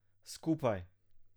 Skupaj.